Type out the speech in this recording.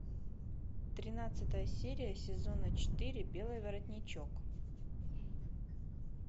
тринадцатая серия сезона четыре белый воротничок